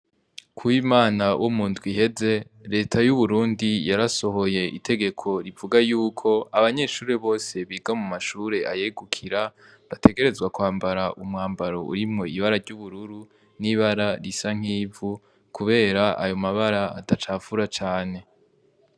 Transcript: Kuw'Imana wo mu ndwi iheze, reta y'uburundi yarasohoye itegeko rivuga y'uko abanyeshure bose biga mu mashure ayegukira, bategerezwa kwambara umwambaro urimwo ibara ry'ubururu n'ibara risa nk'ivu, kubera ayo mabara adacafura cane.